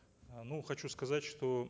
э ну хочу сказать что